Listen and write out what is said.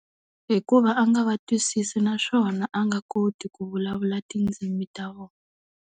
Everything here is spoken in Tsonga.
Hikuva a nga va twisisi naswona a nga koti ku vulavula tindzimi ta vona.